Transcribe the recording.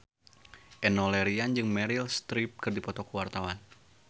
Enno Lerian jeung Meryl Streep keur dipoto ku wartawan